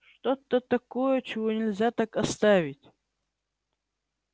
что то такое чего нельзя так оставить